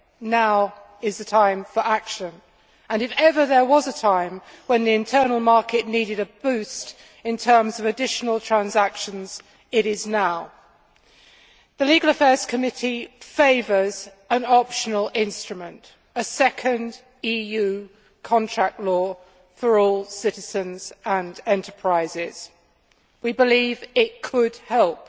now is the time for action, and if ever there was a time when the Internal Market needed a boost in terms of additional transactions, it is now. The Committee on Legal Affairs favours an optional instrument, a second EU contract law for all citizens and enterprises. We believe it could help.